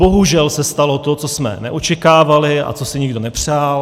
Bohužel se stalo to, co jsme neočekávali a co si nikdo nepřál.